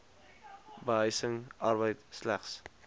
behuising arbeid slegs